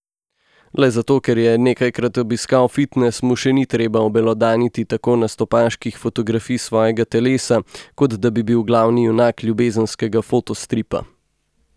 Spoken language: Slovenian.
Le zato, ker je nekajkrat obiskal fitnes, mu še ni treba obelodaniti tako nastopaških fotografij svojega telesa, kot da bi bil glavni junak ljubezenskega fotostripa.